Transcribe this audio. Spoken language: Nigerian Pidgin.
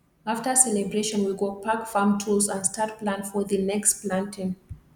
after celebration we go pack farm tools and start plan for the next planting